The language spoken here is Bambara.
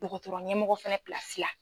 dɔgɔtɔrɔ ɲɛ mɔgɔ fɛnɛ pilsi la.